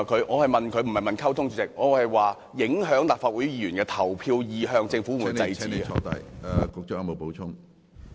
我是問，當中聯辦影響立法會議員的投票意向時，政府會否制止？